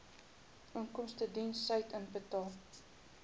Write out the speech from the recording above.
inkomstediens said inbetaal